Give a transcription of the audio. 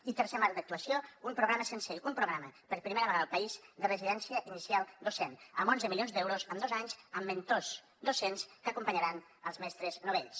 i tercer marc d’actuació un programa sensei un programa per primera vegada al país de residència inicial docent amb onze milions d’euros en dos anys amb mentors docents que acompanyaran els mestres novells